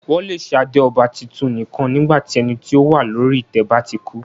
Wọn le ṣe ade ọba titun nikan nígbà tí ẹni ti o wa lori itẹ ba ti ku.